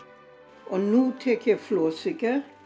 og nú tek ég flórsykur